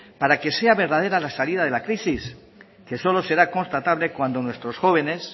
para que sea verdadera la salida de la crisis que solo será constatable cuando nuestros jóvenes